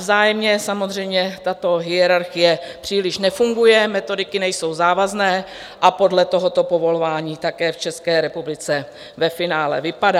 Vzájemně samozřejmě tato hierarchie příliš nefunguje, metodiky nejsou závazné a podle toho povolování také v České republice ve finále vypadá.